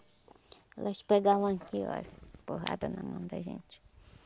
Elas pegavam aqui, olha. Porrada na mão da gente.